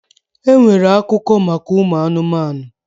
E nwere akuko maka ụmụ anụmanụ.